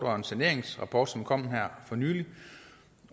og en saneringsrapport som kom her for nylig